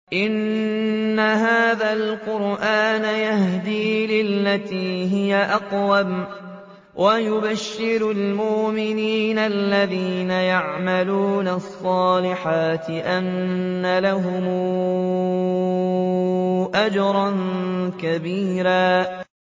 إِنَّ هَٰذَا الْقُرْآنَ يَهْدِي لِلَّتِي هِيَ أَقْوَمُ وَيُبَشِّرُ الْمُؤْمِنِينَ الَّذِينَ يَعْمَلُونَ الصَّالِحَاتِ أَنَّ لَهُمْ أَجْرًا كَبِيرًا